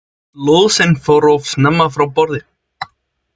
Lóðsinn fór of snemma frá borði